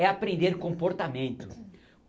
É aprender comportamento.